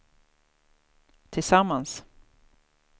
tillsammans